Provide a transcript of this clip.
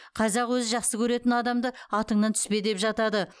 қазақ өзі жақсы көретін адамды атыңнан түспе деп жатады